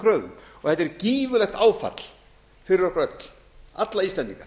kröfum þetta er gífurlegt áfall fyrir okkur öll alla íslendinga